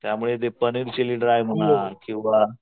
त्यामुळे ते paneer chilli dry म्हणा किंवा